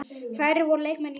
Hverjir voru leikmenn liðsins?